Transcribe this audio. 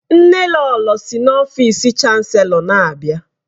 Nnelolo si n'ọfịs Chanselọ na-abịa.